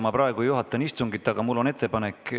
Ma praegu juhatan istungit, aga mul on ettepanek.